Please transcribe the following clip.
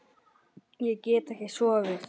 Ég get ekki sofið.